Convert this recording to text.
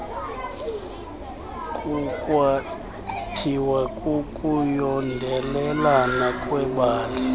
kukwathiwa kukuyondelelana kwebali